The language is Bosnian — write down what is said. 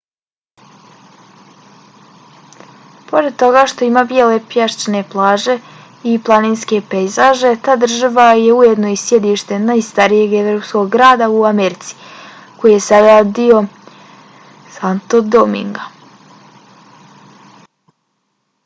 pored toga što ima bijele pješčane plaže i planinske pejzaže ta država je ujedno i sjedište najstarijeg evropskog grada u americi koji je sada dio santo dominga